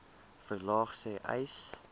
verlaag sê uys